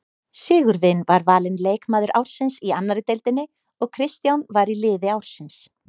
Sigurvin var valinn leikmaður ársins í annarri deildinni og Kristján var í liði ársins.